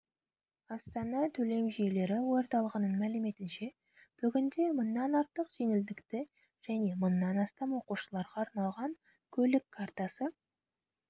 астана төлем жүйелері орталығының мәліметінше бүгінде мыңнан артық жеңілдікті және мыңнан астам оқушыларға арналған көлік картасы